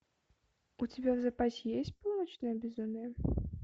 у тебя в запасе есть полуночное безумие